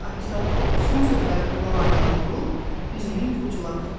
Alisa son sözləri qulaq ardına vurub üzünü yuxucula tutdu.